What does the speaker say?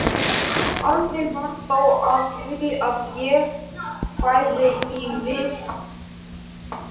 Aldrei varð þó af því að ég færi í viðtalið.